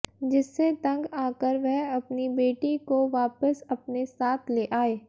जिससे तंग आकर वह अपनी बेटी को वापिस अपने साथ ले आए